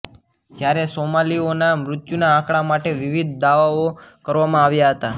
જ્યારે સોમાલીઓના મૃત્યુના આંકાડા માટે વિવિધ દાવાઓ કરવામાં આવતાં હતાં